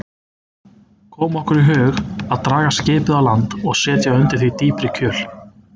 Kom okkur í hug að draga skipið á land og setja undir það dýpri kjöl.